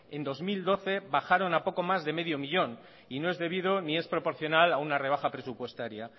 en dos mil doce bajaron a poco más de medio millón y no es debido ni es proporcional a una rebaja presupuestaria